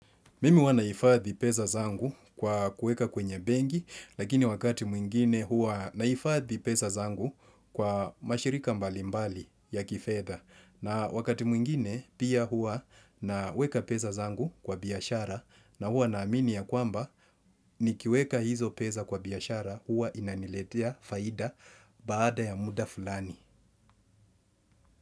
Mimi huwa nahifadhi peza zangu kwa kuweka kwenye benki, lakini wakati mwingine huwa nahifadhi peza zangu kwa mashirika mbalimbali ya kifedha. Na wakati mwingine pia huwa naweka peza zangu kwa biashara na huwa naamini ya kwamba nikiweka hizo peza kwa biashara huwa inaniletea faida baada ya muda fulani.